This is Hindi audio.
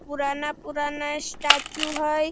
पुराना-पुराना स्टेचू है।